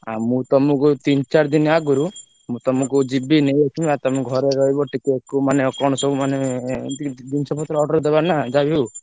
ଆ ମୁଁ ତମକୁ ତିନ ଚାରିଦିନ ଆଗରୁ ମୁଁ ତମକୁ ଯିବି ନେଇଆସିବି ଆଉ ତମେ ଘରେ ରହିବ ଟିକେ କୋଉ ମାନେ କଣ ସବୁ ମାନେ ଏମତି କିଛି ଜିନିଷ ପତ୍ର order ଦବା ନାଁ ଯାହା ବି ହଉ।